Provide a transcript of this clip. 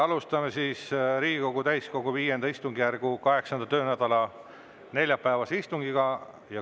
Alustame Riigikogu täiskogu V istungjärgu 8. töönädala neljapäevast istungit.